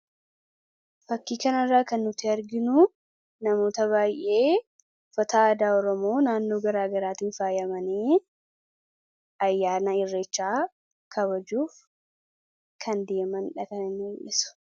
Fakkii kanarraa kan nuti arginu namoota baay'ee uffata aadaa oromoo naannoo garaagaraatiin faayamanii ayyaana irreechaa kabajuuf kan deemanidha kan inni agarsiisu.